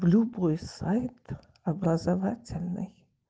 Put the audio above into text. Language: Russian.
любой сайт образовательный